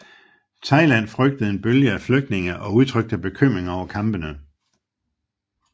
Thailand frygtede en bølge af flygtninge og udtrykte bekymring over kampene